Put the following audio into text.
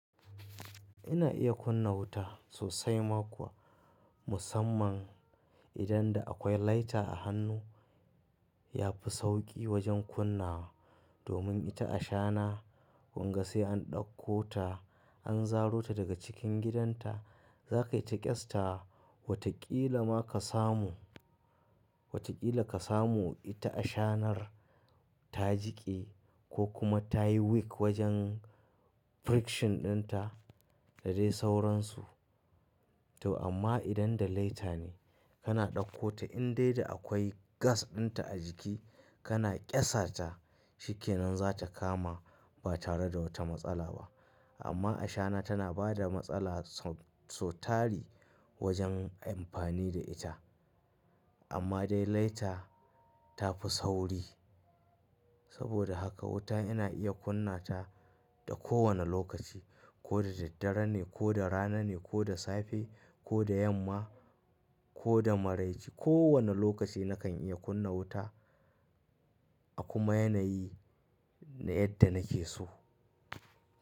Ina iya kunna wuta sosai ma kuwa musamman idan da akwai lighter a hannu yafi sauƙi wajen kunna domin ita ashana kunga sai an ɗauko ta an zaro ta daga cikin gidanta za kaita ƙyasta wa wataƙila ma ka samu, wataƙila ka samu ita ashanar ta jiƙe ko kuma ta yi weak wajen friction ɗinta da dai sauran su. To amma idan da lighter ne kana ɗauko ta in dai da akwai gas ɗinta a jiki kana ƙyasa ta shikenan zata kama ba tare da wata matsala ba. Amma ashana tana bada matsala so tari wajen amfani da ita. Amma dai lighter tafi sauri. Saboda haka wuta ina iya kunna ta da ko wanne lokaci ko da daddare ne ko da rana ne ko da safe ko da yamma ko da maraice ko wane lokaci nakan iya kunna wuta a kuma yanayi na yadda nake so.